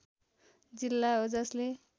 जिल्ला हो जसले